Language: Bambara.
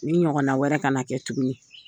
Ni ɲɔgɔnna wɛrɛ ka na kɛ tuguni